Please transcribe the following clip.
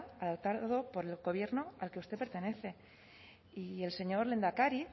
adoptado por el gobierno al que usted pertenece y el señor lehendakari